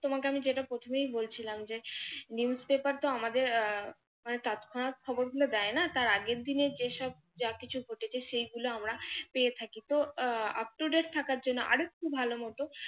তোমাকে আমি যেটা প্রথমেই বলছিলাম যে, news paper তো আমাদের আহ মানে তৎক্ষণাৎ খবর গুলো দেয়না, তার আগের দিনের যেসব যা কিছু ঘটেছে সে গুলো আমরা পেয়ে থাকি। তো up to date থাকার জন্য আরেকটু ভালো মত